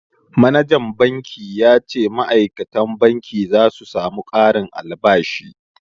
Manajan banki ya ce ma'aikatan banki za su samu ƙarin albashi